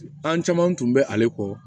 An caman tun bɛ ale kɔ